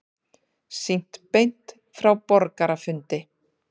Sýnt beint frá borgarafundi